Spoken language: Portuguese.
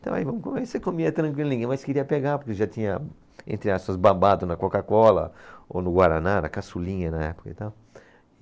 Então aí vamos comer, você comia tranquilinho, mas queria pegar, porque já tinha entre aspas, babado na Coca-Cola ou no Guaraná, na caçulinha na época e tal.